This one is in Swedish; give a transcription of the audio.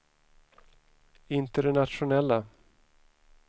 internationella